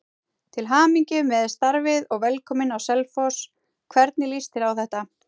Til hamingju með starfið og velkominn á Selfoss, hvernig lýst þér á þetta?